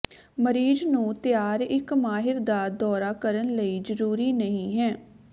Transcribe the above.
ਮਰੀਜ਼ ਨੂੰ ਤਿਆਰ ਇੱਕ ਮਾਹਰ ਦਾ ਦੌਰਾ ਕਰਨ ਲਈ ਜ਼ਰੂਰੀ ਨਹੀ ਹੈ